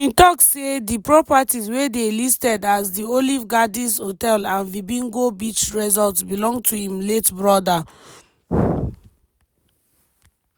e bin tok say di properties wey dey listed as di olive gardens hotel and vipingo beach resort belong to im late broda.